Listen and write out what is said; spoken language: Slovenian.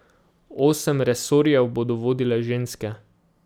Osem resorjev bodo vodile ženske.